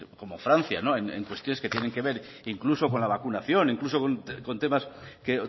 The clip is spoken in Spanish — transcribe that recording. como francia en cuestiones que tienen que ver incluso con la vacunación incluso con temas que